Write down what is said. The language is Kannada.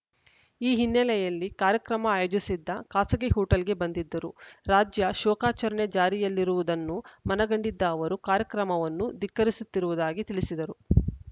ಈ ಹಿನ್ನೆಲೆಯಲ್ಲಿ ಕಾರ್ಯಕ್ರಮ ಆಯೋಜಿಸಿದ್ದ ಖಾಸಗಿ ಹೋಟೆಲ್‌ಗೆ ಬಂದಿದ್ದರು ರಾಜ್ಯ ಶೋಕಾಚರಣೆ ಜಾರಿಯಲ್ಲಿರುವುದನ್ನು ಮನಗಂಡಿದ್ದ ಅವರು ಕಾರ್ಯಕ್ರಮವನ್ನು ಧಿಕ್ಕರಿಸುತ್ತಿರುವುದಾಗಿ ತಿಳಿಸಿದರು